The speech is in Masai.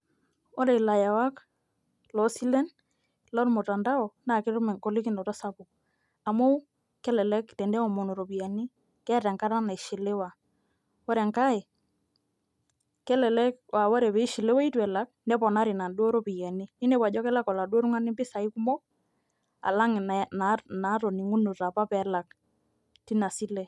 Ore ilayawak loosilen lormutandao engolikinoto sapuk amu kelelek teneomonu iropiyiani keeta enkata naishiliwa, ore enkae kelelek aa ore pee ishiliwa itu elak neponari inaduo ropiyiani ninepu ajo kelak oladuo tung'ani impisai kumok alang' inaatoning'unote apa pee elak tina sile.